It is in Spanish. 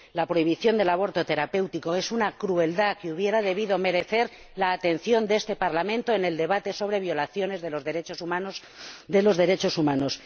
La prohibición del aborto terapéutico es una crueldad que habría debido merecer la atención de este Parlamento en el debate sobre violaciones de los derechos humanos.